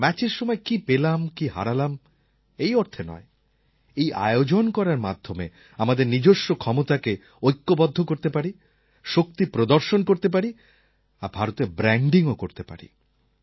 ম্যাচের সময় কি পেলাম কি হারালাম এই অর্থে নয় এই আয়োজন করার মাধ্যমে আমাদের নিজস্ব ক্ষমতাকে ঐক্যবদ্ধ করতে পারি শক্তি প্রদর্শন করতে পারি আর ভারতের ব্র্যান্ডিংও করতে পারি